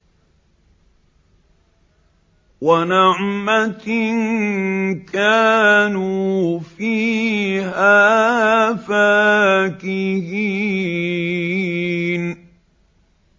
وَنَعْمَةٍ كَانُوا فِيهَا فَاكِهِينَ